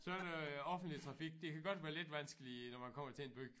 Sådan noget offentlig trafik det kan godt være lidt vanskeligt når man kommer til en by